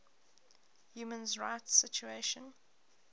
human rights situation